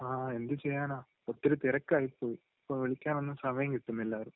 ങാ..എന്ത് ചെയ്യാനാ..ഒത്തിരി തിരക്കായിപ്പോയി. ഇപ്പൊ വിളിക്കാനൊന്നും സമയംകിട്ടുന്നില്ല ആരേം.